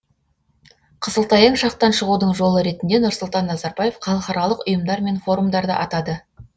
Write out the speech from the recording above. қысылтаяң шақтан шығудың жолы ретінде нұрсұлтан назарбаев халықаралық ұйымдар мен форумдарды атады